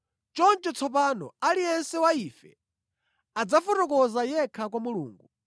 Choncho tsopano, aliyense wa ife adzafotokoza yekha kwa Mulungu.